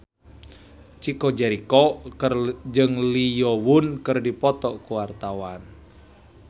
Chico Jericho jeung Lee Yo Won keur dipoto ku wartawan